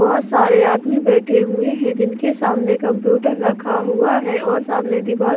बहोत सारे आदमी बैठे हुए हैं जिनके समने कंप्यूटर रखा हुआ है और सामने दिवार --